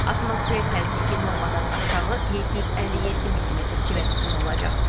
Atmosfer təzyiqi normadan aşağı 757 millimetr civə sütunu olacaq.